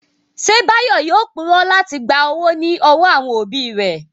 Ṣé Báyọ̀ yóò purọ́ láti gba owó ní ọwọ́ àwọn òbí rẹ̀?